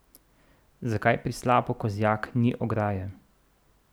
Zakaj pri slapu Kozjak ni ograje?